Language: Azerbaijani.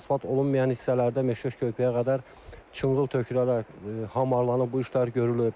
Asfalt olunmayan hissələrdə Meşleş körpüyə qədər çınqıl tökülərək hamarlanıb, bu işlər görülüb.